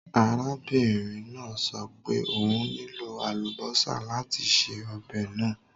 Arábìnrin náà sọ pé òun nílò àlùbọ́sà láti se ọbẹ̀ náà.